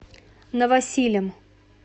новосилем